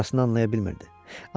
Burasını anlaya bilmirdi.